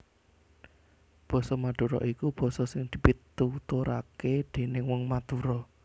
Basa Madura iku basa sing dipituturake déning wong Madura